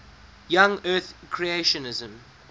young earth creationism